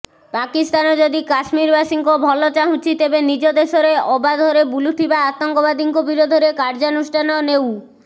ପାକିସ୍ତାନ ଯଦି କାଶ୍ମୀରବାସୀଙ୍କ ଭଲ ଚାହୁଁଛି ତେବେ ନିଜ ଦେଶରେ ଅବାଧରେ ବୁଲୁଥିବା ଆତଙ୍କବାଦୀଙ୍କ ବିରୋଧରେ କାର୍ଯ୍ୟାନୁଷ୍ଠାନ ନେଉ